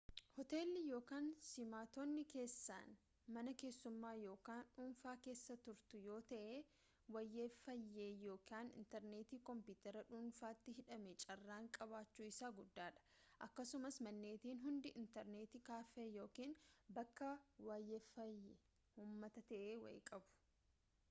hootelli yookaan simattoonni keessan mana keessummaa yookaan dhuunfaa keessa turtu yoo ta’e waayefaayee yookaan intarneetii koompiitara dhuunfaatti hidhame carraan qabaachuu isaa guddaadha akkasumas manneetiin hundi intarneet kaaffee yookaan bakka waayefaayee uummataa ta’e wayii qabu